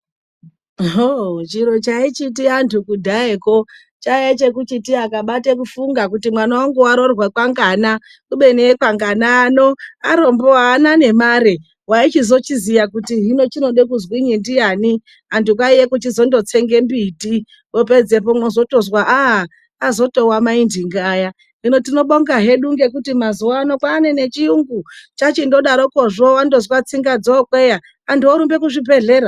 Chiro chaichiti andu kundayako chaive chekuti akabata kufunga kuti mwana wangu aroorwa kwangana. Kubeni ekwangana ano arombo aana ngemare. Waichizongoziya kuti hino chinoda kuzwini ndiani, andu kwaive kuchizotsenga mbiti vozopedzapo mozotozwa kuti atowa mai ndingi vaya. Hino tinobonga hedu ngekuti mazuva ano kwaane chiyungu chachingodaroke zve wandozwe tsinga dzookweya, anthu orumbe kuzvibhedhlera.